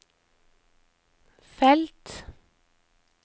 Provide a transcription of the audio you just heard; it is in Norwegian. felt